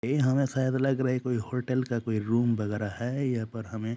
यह हमे शायद लग रहा है कोई होटल का कोई रूम वगेरा है यहाँ पर हमे --